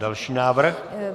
Další návrh.